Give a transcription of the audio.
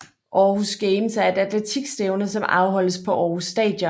Aarhus Games er et atletikstævne som afholdes på Aarhus Stadion